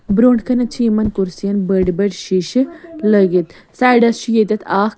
.بروٗنٛٹھہٕ کنٮ۪تھ چھ یِمن کُرسِین بٔڑۍبٔڑۍشیٖشہٕ لٲگِتھ سایڈس چھ ییٚتٮ۪تھ اکھ